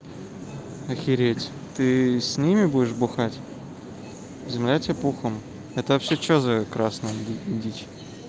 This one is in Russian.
охереть ты с ними будешь бухать земля тебе пухом это вообще что за красная дичь